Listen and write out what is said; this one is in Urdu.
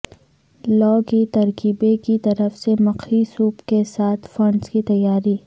لو کی ترکیبیں کی طرف سے مکھی سوپ کے ساتھ فنڈز کی تیاری